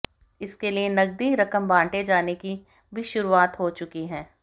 इसके लिए नगदी रकम बांटे जाने की भी शुरूआत हो चुकी है